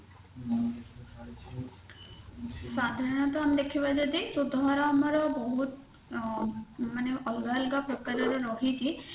ସାଧାରଣତଃ ଆମେ ଦେଖିବା ଯଦି ସୁଧହାର ଆମର ବହୁତ ଅ ମାନେ ଅଲଗା ଅଲଗା ପ୍ରକାରର ରହିଛି